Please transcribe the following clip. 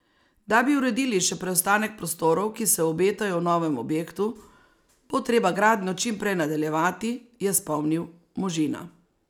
Da bi uredili še preostanek prostorov, ki se obetajo v novem objektu, bo treba gradnjo čim prej nadaljevati, je spomnil Možina.